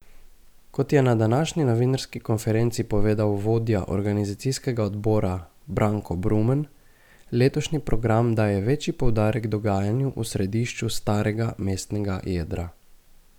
Kot je na današnji novinarski konferenci povedal vodja organizacijskega odbora Branko Brumen, letošnji program daje večji poudarek dogajanju v središču starega mestnega jedra.